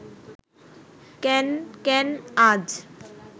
কেন, কেন আজ